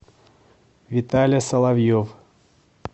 виталя соловьев